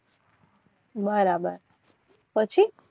બરાબર પછી